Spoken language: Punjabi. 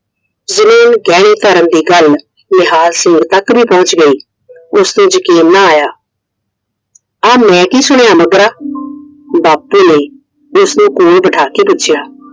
ਜਮੀਨ ਗਹਿਣੇ ਧਰਨ ਦੀ ਗੱਲ ਨਿਹਾਲ ਸਿੰਘ ਤੱਕ ਵੀ ਪਹੁੰਚ ਗਈ ਉਸਨੂੰ ਯਕੀਨ ਨਾ ਆਇਆ! ਆ ਮੈਂ ਕੀ ਸੁਣਿਆ ਮੱਘਰਾ ਬਾਪੂ ਨੇ ਉਸ ਨੂੰ ਕੋਲ ਬਿਠਾ ਕੇ ਪੁੱਛਿਆ?